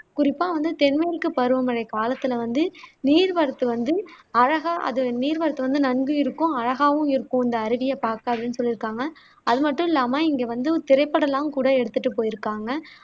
குறிப்பா வந்து தென்மேற்கு பருவமழை காலத்துல வந்து நீர் வரத்து வந்து அழகா அது நீர் வரத்து வந்து நன்கு இருக்கும் அழகாவும் இருக்கும் அந்த அருவியை பாக்க அப்படின்னு சொல்லியிருக்காங்க அது மட்டும் இல்லாம இங்க வந்து திரைப்படமெல்லாம் கூட எடுத்துட்டு போயிருக்காங்க